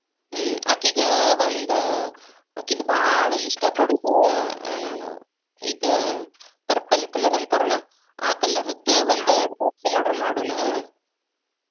ಹ್ಮಅಕಿಗ ಒಂದ, ಅಕಿಂದ ಭಾಳ ಇಷ್ಟಾ ಪಡುದ ಆಹ್ ಇದ purple colour ಅಂತಾರಲ್ಲಾ ಆ colour ದ ಒಂದ್ dress order ಮಾಡುಣ.